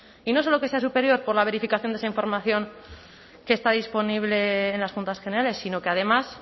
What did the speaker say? y no solo que sea superior por la verificación de esa información que está disponible en las juntas generales sino que además